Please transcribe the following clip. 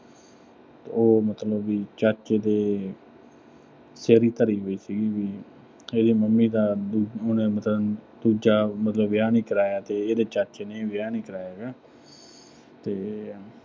ਉਹ ਮਤਲਬ ਵੀ ਚਾਚੇ ਦੇ ਸਿਰ ਹੀ ਧਰੀ ਹੋਈ ਸੀਗੀ ਵੀ ਇਹਦੀ mummy ਦਾ ਅਹ ਉਹਨੇ ਮਤਲਬ, ਦੂਜਾ ਵਿਆਹ ਨੀਂ ਕਰਾਇਆ ਤੇ ਇਹਦੇ ਚਾਚੇ ਨੇ ਵੀ ਵਿਆਹ ਨੀਂ ਕਰਾਇਆ ਗਾ। ਤੇ